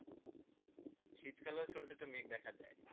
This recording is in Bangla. শীতকালেও ছোটো ছোটো মেঘ দেখা যাই